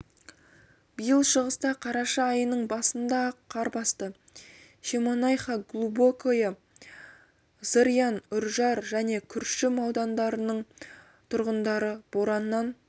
биыл шығыста қараша айының басында-ақ қар басты шемонайха глубокое зырян үржар және күршім аудандарының тұрғындары бораннан